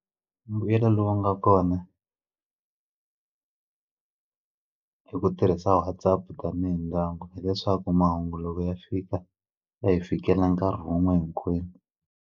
Mbuyelo lowu nga kona hi ku tirhisa WhatsApp tanihi ndyangu hileswaku mahungu loko ya fika ya hi fikelela nkarhi wun'we hinkwenu.